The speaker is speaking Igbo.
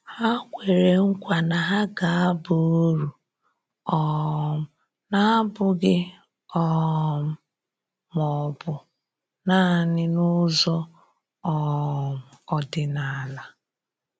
Ha kwere nkwa na ha ga-aba uru, um na-abụghị um ma ọ bụ naanị n'ụzọ um ọdịnala.